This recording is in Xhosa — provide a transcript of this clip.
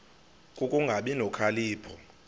ku kungabi nokhalipho